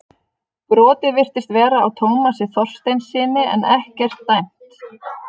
Brotið virtist vera á Tómasi Þorsteinssyni en ekkert dæmt.